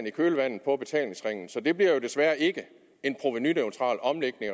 i kølvandet på betalingsringen så det bliver desværre ikke en provenuneutral omlægning